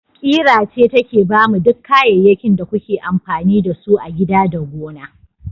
Ƙira ce take bamu duk kayyakin da kuke amfani da su a gida da gona.